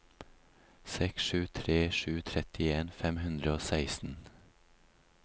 seks sju tre sju trettien fem hundre og seksten